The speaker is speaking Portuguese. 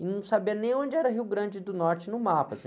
E não sabia nem onde era Rio Grande do Norte no mapa, assim.